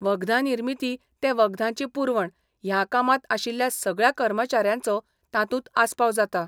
वखदां निर्मिती ते वखदांची पुरवण ह्या कामांत आशिल्ल्या सगळ्या कर्मचाऱ्यांचो तातूंत आस्पाव जाता.